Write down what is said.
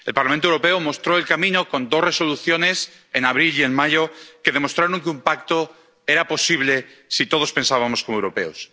El Parlamento Europeo mostró el camino con dos Resoluciones, en abril y en mayo, que demostraron que un pacto era posible si todos pensábamos como europeos.